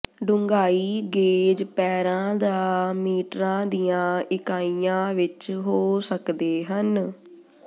ਡੂੰਘਾਈ ਗੇਜ ਪੈਰਾਂ ਜਾਂ ਮੀਟਰਾਂ ਦੀਆਂ ਇਕਾਈਆਂ ਵਿਚ ਹੋ ਸਕਦੇ ਹਨ